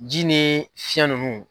Ji ni fiyɛn nunnu.